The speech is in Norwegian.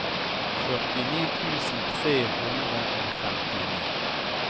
førtini tusen tre hundre og femtini